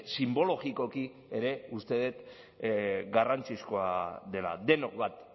sinbologikoki ere uste dut garrantzizkoa dela denok bat